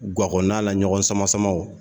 Ga kɔnɔna la ɲɔgɔn sama sama o